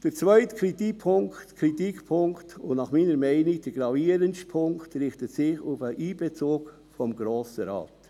Der zweite Kritikpunkt – und meiner Meinung nach der gravierendste Punkt – richtet sich auf den Einbezug des Grossen Rates.